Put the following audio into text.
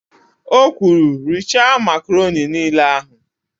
O kwuru, "richaa makaroni niile ahụ"!